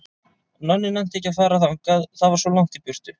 Nonni nennti ekki að fara þangað, það var svo langt í burtu.